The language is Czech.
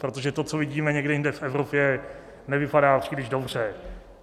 Protože to, co vidíme někde jinde v Evropě, nevypadá příliš dobře.